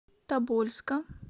тобольска